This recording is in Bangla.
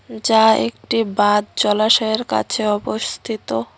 যা একটি বাঁধ জলাশয়ের কাছে অবস্থিত।